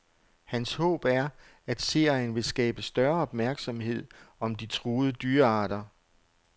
Hans håb er, at serien vil skabe større opmærksomhed om de truede dyrearter.